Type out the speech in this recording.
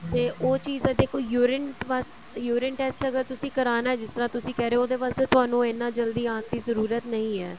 ਤੇ ਉਹ ਚੀਜ਼ ਦਾ ਜੇ ਕੋਈ urine ਵਾਸਤੇ urine test ਅਗਰ ਤੁਸੀਂ ਕਰਾਣਾ ਜਿਸ ਤਰ੍ਹਾਂ ਤੁਸੀਂ ਕਹਿ ਰਹੇ ਹੋ ਉਹਦੇ ਵਾਸਤੇ ਤੁਹਾਨੂੰ ਇੰਨਾ ਜਲਦੀ ਆਉਣ ਦੀ ਜ਼ਰੂਰਤ ਨਹੀਂ ਹੈ